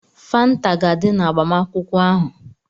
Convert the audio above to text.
Fanta ga-adị na agbamakwụkwọ ahụ.